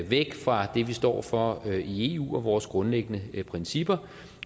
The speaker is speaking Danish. væk fra det vi står for i eu og vores grundlæggende principper